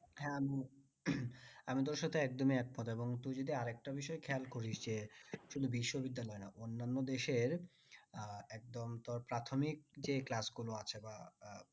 হ্যাঁ গো আমি তোর সাথে একদমই একমত এবং তুই যদি আরেক তা বিষয় খেয়াল করিস যে কোনো বিশ্ব বিদ্যালয় না অন্নান্য দেশের একদম তোর প্রাথমিক যেই class গুলো আছে বা